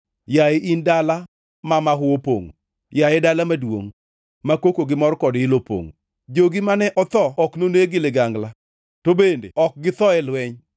Yaye in dala ma mahu opongʼo, yaye dala maduongʼ ma koko gi mor kod ilo opongʼo? Jogi mane otho ok noneg gi ligangla to bende ne ok githo e lweny.